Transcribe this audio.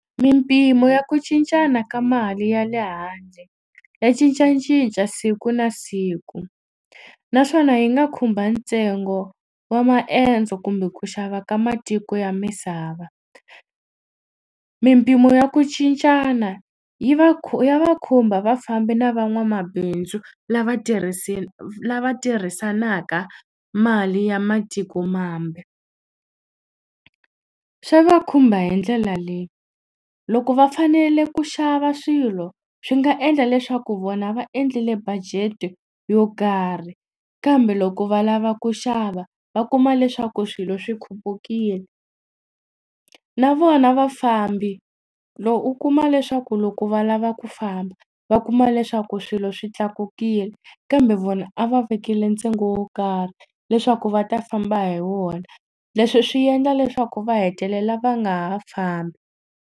Mimpimo ya ku cincana ka mali ya le handle ya cincacinca siku na siku naswona yi nga khumba ntsengo wa maendzo kumbe ku xava ka matiko ya misava mimpimo ya ku cincana yi va ya va khumba vafambi na van'wamabindzu lava lava tirhisanaka mali ya matiko mambe swa va khumba hi ndlela leyi loko va fanele ku xava swilo swi nga endla leswaku vona va endlile budget-e yo karhi kambe loko va lava ku xava va kuma leswaku swilo swi khupukile na vona vafambi u kuma leswaku loko va lava ku famba va kuma leswaku swilo swi tlakukile kambe vona a va vekile ntsengo wo karhi leswaku va ta famba hi wona leswi swi endla leswaku va hetelela va nga ha fambi.